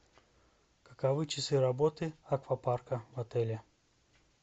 каковы часы работы аквапарка в отеле